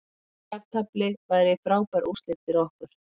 Jafntefli væri frábær úrslit fyrir okkur